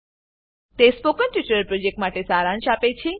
તે spoken tutorial પ્રોજેક્ટનો સારાંશ આપે છે